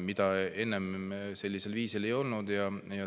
mida ennem sellisel viisil ei olnud.